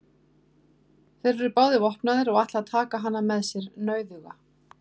Þeir eru báðir vopnaðir og ætla að taka hana með sér nauðuga.